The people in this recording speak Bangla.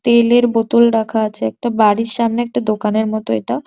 তেলের বোতল রাখা আছে একটা বাড়ির সামনে একটা দোকানের মতো এটা।